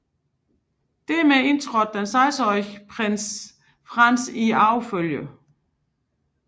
Dermed indtrådte den sekstenårige prins Franz i arvefølgen